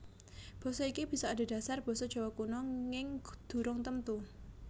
Basa iki bisa adhedhasar basa Jawa Kuna nging durung temtu